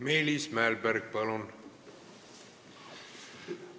Meelis Mälberg, palun!